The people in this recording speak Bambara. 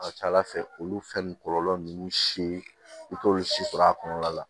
A ka ca ala fɛ olu fɛn kɔlɔlɔ nunnu si i t'olu si sɔrɔ a kɔnɔna la